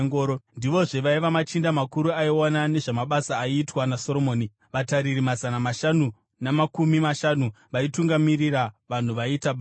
Ndivozve vaiva machinda makuru aiona nezvamabasa aiitwa naSoromoni, vatariri mazana mashanu namakumi mashanu vaitungamirira vanhu vaiita basa.